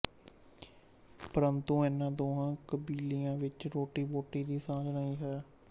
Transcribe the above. ਪਰੰਤੂ ਇਨ੍ਹਾਂ ਦੋਹਾਂ ਕਬੀਲਿਆਂ ਵਿੱਚ ਰੋਟੀਬੋਟੀ ਦੀ ਸਾਂਝ ਨਹੀਂ ਹੈ